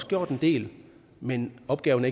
gjort en del men opgaven